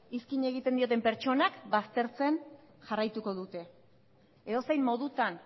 izkin egiten dioten pertsonak baztertzen jarraituko dute edozein modutan